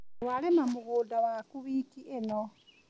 Twarĩma mũgũnda waku wiki ĩno.